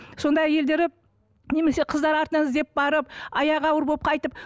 сонда әйелдері немесе қыздары артынан іздеп барып аяғы ауыр болып қайтып